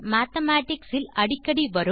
mathematics இல் அடிக்கடி வரும்